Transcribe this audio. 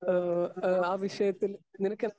speaker 2